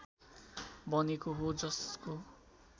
बनेको हो जसको